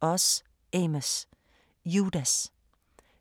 Oz, Amos: Judas